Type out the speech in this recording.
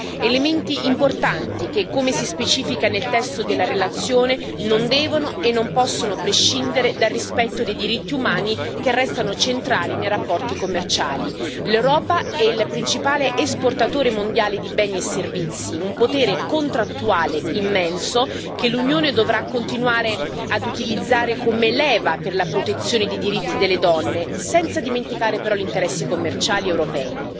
Elementi importanti che, come si specifica nel testo della relazione, non devono e non possono prescindere dal rispetto dei diritti umani, che restano centrali nei rapporti commerciali. L'Europa è il principale esportatore mondiale di beni e servizi un potere contrattuale immenso che l'Unione dovrà continuare ad utilizzare come leva per la protezione dei diritti delle donne, senza dimenticare però gli interessi commerciali europei.